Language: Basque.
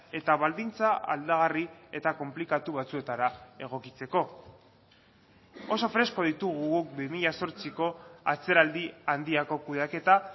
eta baldintza aldagarri eta konplikatu batzuetara egokitzeko oso fresko ditugu guk bi mila zortziko atzeraldi handiko kudeaketa